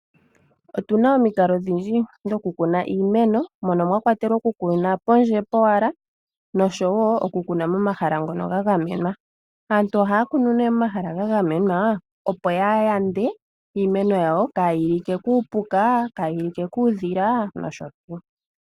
Otuna omikalo odhindji dhokukuna iimeno mono mwa kwatelwa okukuna pondje powala noshowo okukuna momahala ngono ga gamenwa. Aantu ohaya kunu nee momahala ga gamwena opoya yande iimeno yawo kaayi like kuupuka, kaayi like kuudhila nosho tuu.